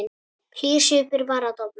Hlýr svipur var að dofna.